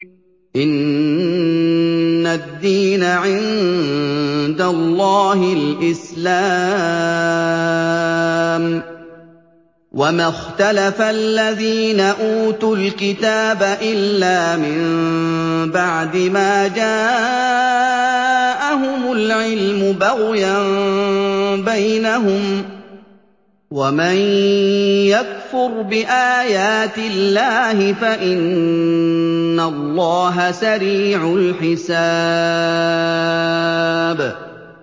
إِنَّ الدِّينَ عِندَ اللَّهِ الْإِسْلَامُ ۗ وَمَا اخْتَلَفَ الَّذِينَ أُوتُوا الْكِتَابَ إِلَّا مِن بَعْدِ مَا جَاءَهُمُ الْعِلْمُ بَغْيًا بَيْنَهُمْ ۗ وَمَن يَكْفُرْ بِآيَاتِ اللَّهِ فَإِنَّ اللَّهَ سَرِيعُ الْحِسَابِ